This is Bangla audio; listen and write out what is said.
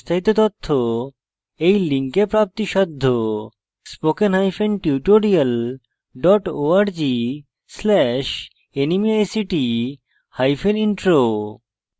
এই বিষয়ে বিস্তারিত তথ্য এই লিঙ্কে প্রাপ্তিসাধ্য spoken hyphen tutorial dot org slash nmeict hyphen intro